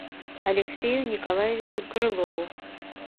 алексею николаевичу крылову